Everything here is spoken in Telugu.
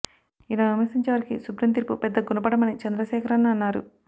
ఇలా విమర్శించే వారికి సుప్రీం తీర్పు పెద్ద గుణపాఠం అని చంద్రశేఖరన్ అన్నారు